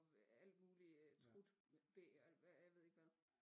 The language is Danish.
Alt mulig trut bæ og jeg ved ikke hvad